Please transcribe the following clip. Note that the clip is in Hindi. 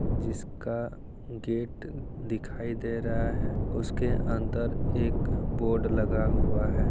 जिसका गेट दिखाई दे रहा है उसके अंदर एक बोर्ड लगा हुआ है।